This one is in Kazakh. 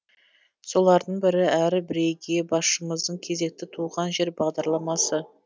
солардың бірі әрі бірегейі басшымыздың кезекті туған жер бағдарламасы